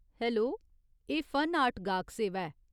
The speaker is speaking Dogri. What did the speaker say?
हैलो, एह् फन आर्ट गाह्क सेवा ऐ।